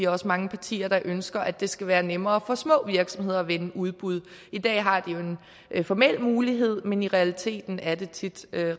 også mange partier der ønsker at det skal være nemmere for små virksomheder at vinde udbud i dag har de jo en formel mulighed men i realiteten er det tit